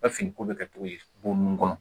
fini ko bɛ kɛ cogo di bon nunnu kɔnɔ.